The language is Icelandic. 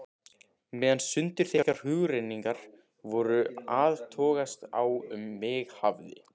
Meðan sundurþykkar hugrenningar voru að togast á um mig hafði